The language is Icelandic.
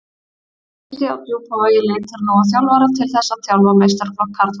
Neisti á Djúpavogi leitar nú að þjálfara til þess að þjálfa meistaraflokk karla.